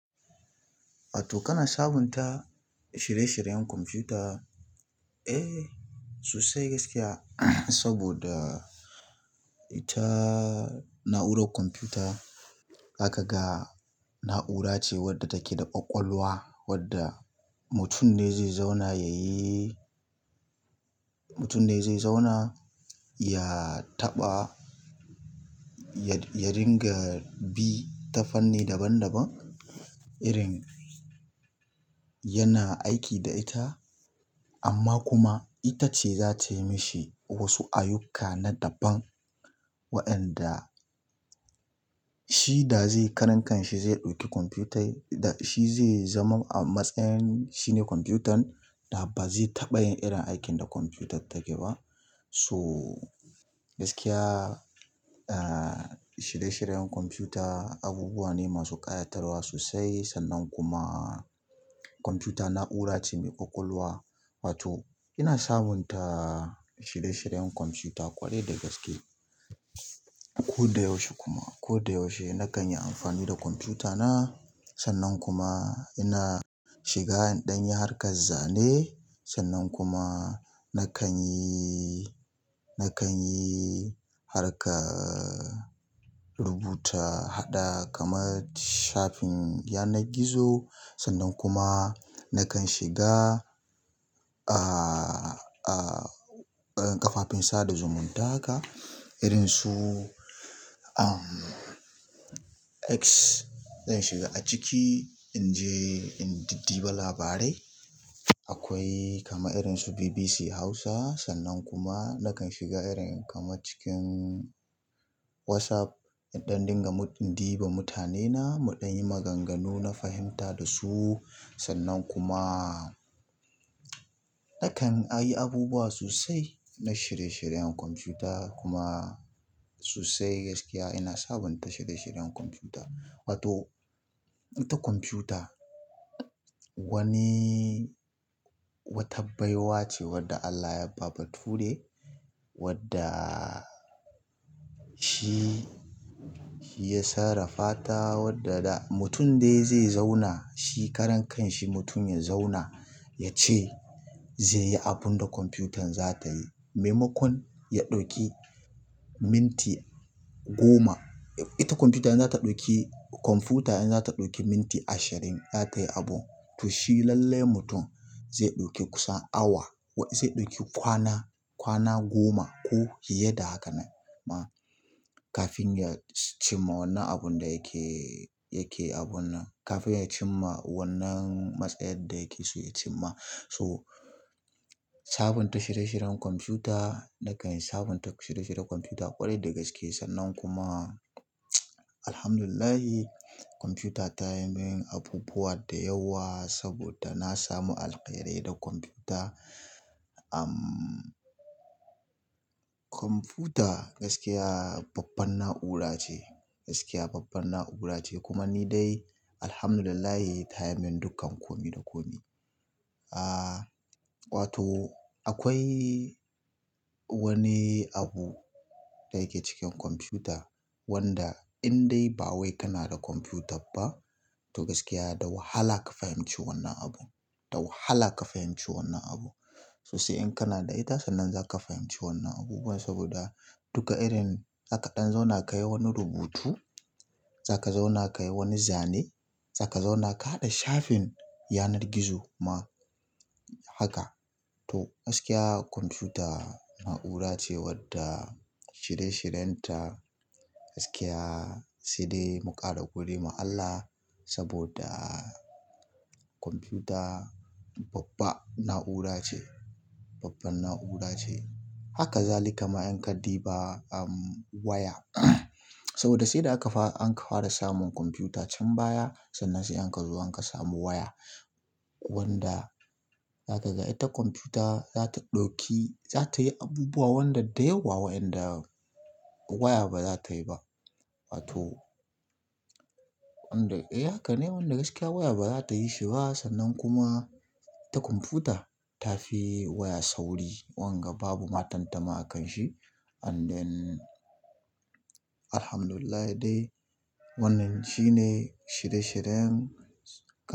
Wato, kana sabunta shirye-shiryen kwamfuta. Eh, sosai gaskiya saboda ita na'urar kwamfuta zaka ga na'ura ce wadda take da ƙwaƙwalwa wadda mutum ne zai zauna yayi-- mutum ne zai zauna ya taɓa, ya, ya ringa bi ta fanni daban daban irin yana aiki da ita amma kuma ita ce za ta yi mashi wasu ayyuka na daban wa ƴanda shi da zai karan kanshi zai ɗauki kwamfuta, shi zai zama a matsayin shine kwamfutan da ba zai taɓa yin irin aikin da kwamfutar take ba. To gaskiya, ah, shirye-shiryen kwamfuta abubuwa ne masu ƙayatarwa sosai sannan kuma kwamfuta na'ura ce mai ƙwaƙwalwa. Wato, ina sabunta shirye-shiryen kwamfuta ƙwarai da gaske. Koda yaushe kuma koda yaushe nakan yi amfani da ƙwamfuta na sannan kuma ina shiga in ɗanyi harkan zane sannan kuma na kan yi, na kan yi harkar rubuta haɗa kamar shafin yanar gizo sannan kuma na kan shiga, ah, ah, ƙafafun sada zumunta haka irinsu, um, X. Zan shiga a ciki in je in diddi ba labarai. Akwai kama irinsu BBC Hausa sannan kuma na kan shiga irin kama cikin WhatsApp in ɗan dinga diba mutanena muɗan yi maganganu na fahimta da su sannan kuma akan ayi abubuwa sosai na shirye shiryen ƙwamfuta kuma sosai gaskiya ina sabunta shirye shiryen ƙwamfuta wato ita ƙwamguta wani wata baiwa ce wadda Allah yaba bature wadda shi ya sarrafata wadda da mutum dai zai zauna shi karan kanshi mutum ya zauna ya ce zai yi abun da kwamfutan za ta yi. Maimakon ya ɗauki minti goma, ita kwamfuta in za ta ɗauki, kwamfuta in za ta ɗauki minti ashirin za tayi abun to shi lallai mutum zai ɗauki kusan awa, zai ɗauki kwana, kwana goma ko fiye da haka ma kafin ya cimma wannan abun da yake, yake abun nan, kafin ya cimma wannan matsayar da yake so ya cimma. So, sabunta shirye-shiryen kwamfuta, na kan yi sabunta shirye-shiryen kwamfuta ƙwarai da gaske sannan kuma Alhamdulillah kwamfuta ta yi min abubuwa da yawa saboda na samu alkhairi da kwamfuta. Um, kwamfuta gaskiya babban na'ura ce, gaskiya babban na'ura ce kuma ni dai Alhamdulillah ta yi min dukkan kome da kome. Ah, wato, akwai wani abu da yake cikin kwamfuta wanda in dai ba wai kana da kwamfuta ba to gaskiya da wahala ka fahimci wannan abun, da wahala ka fahimci wannan abun. Sosai in kana da ita sannan za ka fahimci wannan abubuwa saboda duka irin za ka ɗan zauna ka yi wani rubutu, za ka zauna ka yi wani zane, za ka zauna ka haɗa shafin yanar gizo ma haka. To, gaskiya kwamfuta na'ura ce wadda shirye-shiryen ta gaskiya sai dai mu ƙara gode ma Allah saboda kwamfuta babba na'ura ce, babban na'ura ce. Haka zalikama in ka diba, um, waya saboda sai da aka fara, an fara samun kwamfuta can baya sannan sai an ka zo an ka samu waya wanda za ka ga ita kwamfuta za ta ɗauki, za ta yi abubuwa wanda da yawa wa'inda waya ba za ta yi ba. Wato, wanda, eh haka ne wanda gaskiya waya ba za ta yi shi ba sannan kuma ita kwamfuta ta fi waya sauri wanga babu matattama a kan shi ande Alhamdulillahi dai wannan shi ne shirye-shiryen.